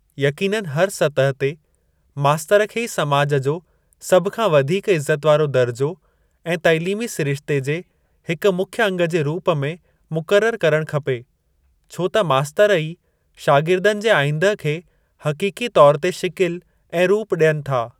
यक़ीननि हर सतह ते मास्तर खे ई समाज जो सभ खां वधीक इज़त वारो दर्जो ऐं तैलीमी सिरिश्ते जे हिक मुख्य अंग जे रूप में मुक़ररु करणु खपे, छो त मास्तर ई शागिर्दनि जे आईंदह खे हक़ीक़ी तौर ते शिकिलि ऐं रूप ॾियनि था।